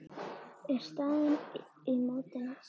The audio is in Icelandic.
er staðan í mótinu.